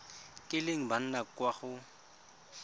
kileng ba nna kwa go